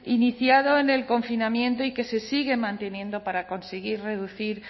iniciado en el confinamiento y que se sigue manteniendo para conseguir reducir